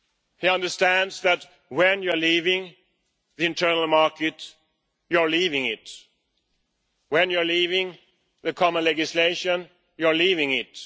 He understands that when you are leaving the internal market, you're leaving it. When you are leaving the common legislation, you are leaving it.